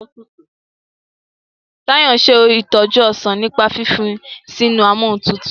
Tayo nse itoju ọsán nípa fífi sínú Amóhuntutù.